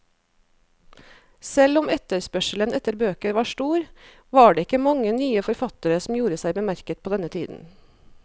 Selv om etterspørselen etter bøker var stor, var det ikke mange nye forfattere som gjorde seg bemerket på denne tiden.